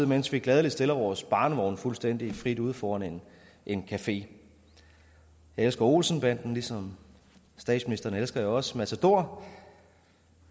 mens vi gladelig stiller vores barnevogn fuldstændig frit ude foran en café jeg elsker olsen banden og ligesom statsministeren elsker jeg også matador